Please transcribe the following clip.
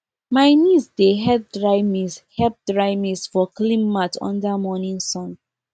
my niece dey help dry maize help dry maize for clean mat under morning sun